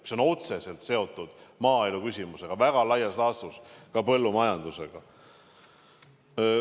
See on otseselt seotud maaelu küsimusega, väga laias laastus ka põllumajandusega.